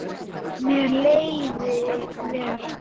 Mér leið vel.